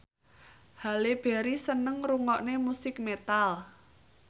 Halle Berry seneng ngrungokne musik metal